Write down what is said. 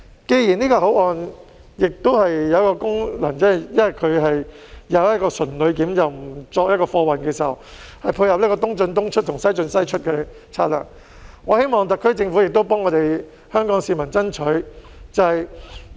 既然這個口岸的功能只是純旅檢，不作貨運，以配合"東進東出、西進西出"的策略，我希望特區政府也為香港市民爭取便利。